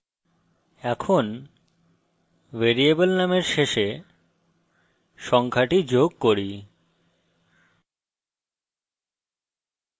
এখন ভ্যারিয়েবল নামের শেষে সংখ্যাটি যোগ করি